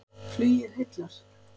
Flugið heillar